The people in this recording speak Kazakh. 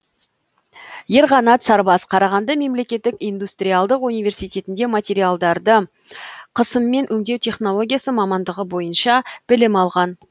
ерқанат сарбас қарағанды мемлекеттік индустриалдық университетінде материалдарды қысыммен өңдеу технологиясы мамандығы бойынша білім алған